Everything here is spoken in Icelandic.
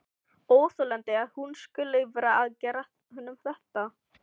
Óþolandi að hún skuli vera að gera honum þetta!